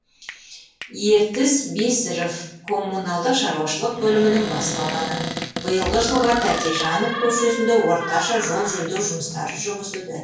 ертіс бесіров коммуналдық шаруашылық бөлімінің бас маманы биылғы жылға тәкежанов көшесінде орташа жол жөндеу жұмыстары жүргізілді